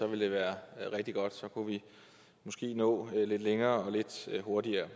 ville det være rigtig godt så kunne vi måske nå lidt længere lidt hurtigere